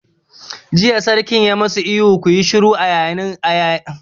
Jiya Sarkin ya ma su ihun 'ku yi shiru'! a yayin ganawar muhawaran shugabanni